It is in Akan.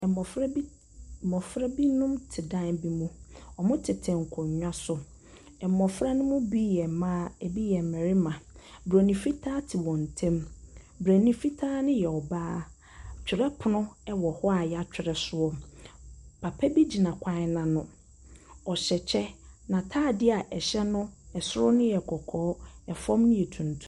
Mmɔfra bi te . Mmɔfra binom te dan bi mu. Wɔtete nkonnwa so. Mmɔfra no mu bi yɛ mmaa, ɛbi yɛ mmarima Buronin fitaa te wɔn ntam. Buronin fitaa no yɛ ɔbaa. Twerɛpono wɔ hɔ a wɔatwerɛ so. Papa bi gyina kwan no ano. Ɔhyɛ kyɛ. N'atadeɛ a ɛhyɛ no so yɛ kɔkɔɔ, fam no yɛ tuntu .